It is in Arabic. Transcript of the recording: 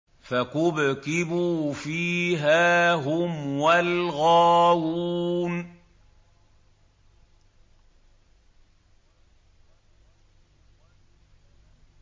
فَكُبْكِبُوا فِيهَا هُمْ وَالْغَاوُونَ